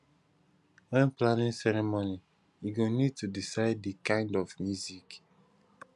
when planning ceremony you go need to decide di kind of music